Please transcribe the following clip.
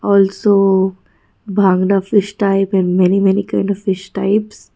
also bhangda fish type and many many kinds of fish types.